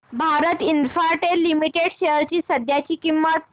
Bharti Infratel limited shares ची सध्याची किंमत